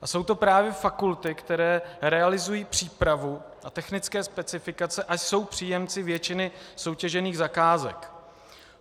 A jsou to právě fakulty, které realizují přípravu a technické specifikace a jsou příjemci většiny soutěžených zakázek.